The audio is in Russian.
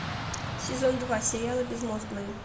сезон два сериала безмозглые